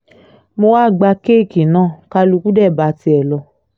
mo wáá gba kéèkì náà kálukú dé bá tiẹ̀ lọ